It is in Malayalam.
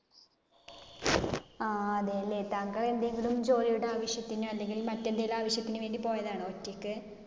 ആഹ് അതേലെ. താങ്കൾ എന്തെങ്കിലും ജോലിയുടെ ആവശ്യത്തിനോ അല്ലെങ്കിൽ മറ്റെന്തെങ്കിലും ആവശ്യത്തിന് വേണ്ടി പോയതാണോ ഒറ്റക്ക്?